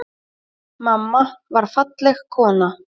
Mamma var falleg kona.